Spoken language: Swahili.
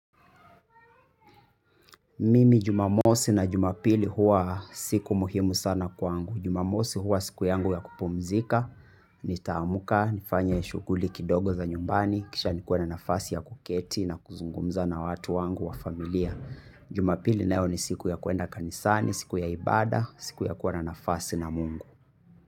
Mimi jumamosi na jumapili huwa siku muhimu sana kwangu. Jumamosi huwa siku yangu ya kupumzika, nitaamka nifanye shughuli kidogo za nyumbani kisha nikuwe na nafasi ya kuketi na kuzungumza na watu wangu wa familia. Jumapili nayo ni siku ya kuenda kanisani siku ya ibada siku ya kuwa na nafasi na mungu.